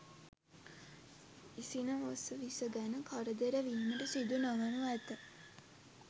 ඉසින වස විස ගැන කරදර වීමට සිදු නොවනු ඇත.